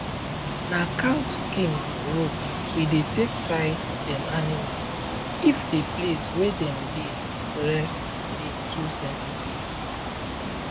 na cow skin rope we dey take tie dem animalif the place wey dem dey rest dey too sensitive